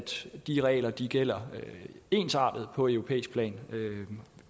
de regler gælder ensartet på europæisk plan